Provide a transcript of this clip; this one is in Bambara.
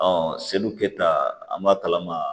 seli keta an b'a kalama